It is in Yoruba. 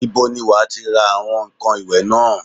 Ibo ni wà á ti ra àwọn ǹkan ìwẹ̀ náà?